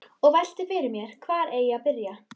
Og velti fyrir mér hvar eigi að byrja.